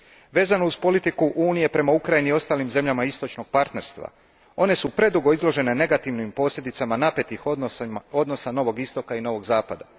Vezano uz politiku Unije prema Ukrajini i ostalim zemljama Istočnog partnerstva, one su predugo izložene negativnim posljedicama napetih odnosa Novog istoka i Novog zapada.